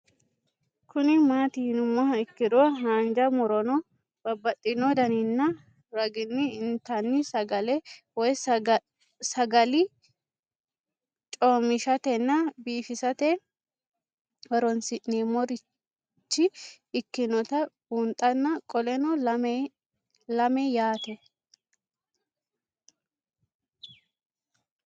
Kuni mati yinumoha ikiro hanja muroni babaxino daninina ragini intani sagale woyi sagali comishatenna bifisate horonsine'morich ikinota bunxana qoleno lame yaate?